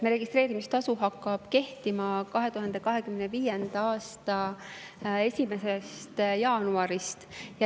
Registreerimistasu hakkab kehtima 2025. aasta 1. jaanuarist.